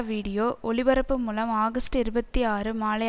video ஒளிபரப்பு மூலம் August இருபத்தி ஆறு மாலை